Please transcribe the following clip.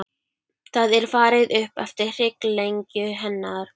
Það er farið upp eftir hrygglengju hennar.